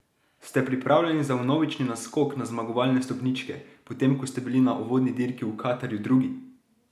Ste pripravljeni za vnovični naskok na zmagovalne stopničke, potem ko ste bili na uvodni dirki v Katarju drugi?